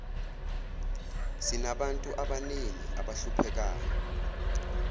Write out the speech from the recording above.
sinabantu abaningi abahluphekayo